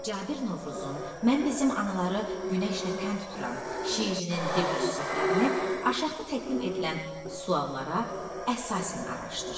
Cabir Novruzun, mən bizim anaları günəşlə tən tuturam, şeirinin dil xüsusiyyətlərini aşağıda təqdim edilən suallara əsasən araşdır.